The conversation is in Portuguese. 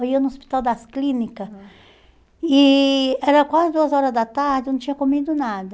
Aí eu no hospital das clínicas, aham, e era quase duas horas da tarde, eu não tinha comido nada.